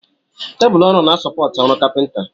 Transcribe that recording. Tebụl ọrụ na sopọti ọrụ kapinta.